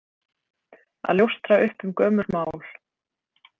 Að ljóstra upp um gömul mál